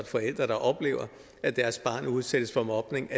forældre der oplever at deres barn udsættes for mobning